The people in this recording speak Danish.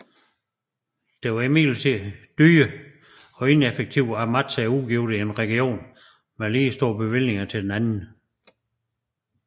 Det var imidlertid dyrt og ineffektivt at matche udgifterne i én region med lige store bevillinger til den anden